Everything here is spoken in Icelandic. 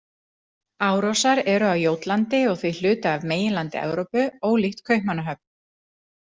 Árósar eru á Jótlandi og því hluti af meginlandi Evrópu ólíkt Kaupmannahöfn.